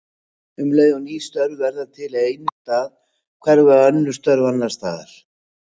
Um leið og ný störf verða til á einum stað hverfa önnur störf annars staðar.